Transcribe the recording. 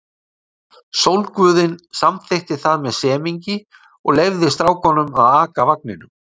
Sólguðinn samþykkti það með semingi og leyfði stráknum að aka vagninum.